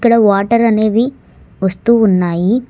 Water అనేవి వస్తూ ఉన్నాయి.